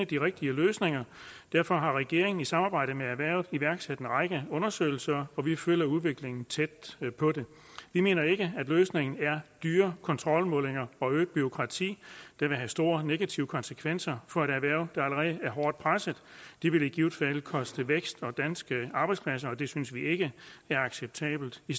de rigtige løsninger derfor har regeringen i samarbejde med erhvervet iværksat en række undersøgelser og vi følger udviklingen tæt vi mener ikke at løsningen er dyre kontrolmålinger og øget bureaukrati der vil få store negative konsekvenser for et erhverv der allerede er hårdt presset det vil i givet fald koste vækst og danske arbejdspladser og det synes vi ikke er acceptabelt vi